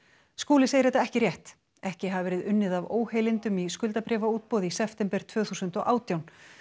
Skúli segir þetta ekki rétt ekki hafi verið unnið af óheilindum í skuldabréfaútboði í september tvö þúsund og átján